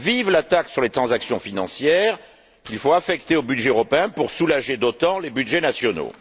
Vive la taxe sur les transactions financières qu'il faut affecter au budget européen pour soulager d'autant les budgets nationaux!